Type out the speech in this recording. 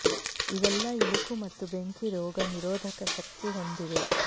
ಇವೆಲ್ಲ ಇಲುಕು ಮತ್ತು ಬೆಂಕಿ ರೋಗ ನಿರೋಧಕ ಶಕ್ತಿ ಹೊಂದಿವೆ